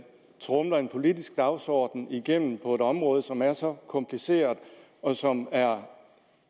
tromler en politisk dagsorden igennem på et område som er så kompliceret og som er